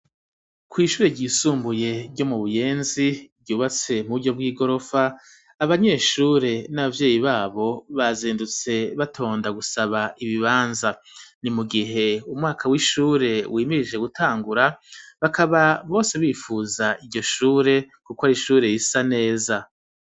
Kw'ishure ryisumbuye ryo mu Buyenzi ryubatse mu buryo bw'igorofa abanyeshure n'abavyeyi babo bazindutse batonda gusaba ibibanza ni mu gihe umwaka w'ishure wimirije gutangura bakaba bose bifuza iryo shure kuko ari ishure risa neza